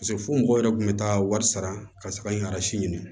paseke fo mɔgɔw yɛrɛ kun be taa wari sara ka sɔrɔ ka ɲini